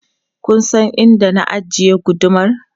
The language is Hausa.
Kun san inda na ajiye gudumar?